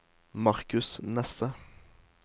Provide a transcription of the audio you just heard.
Marcus Nesse